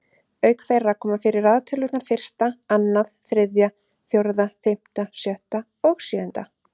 Auk þeirra koma fyrir raðtölurnar fyrsta, annað, þriðja, fjórða, fimmta, sjötta og sjöunda.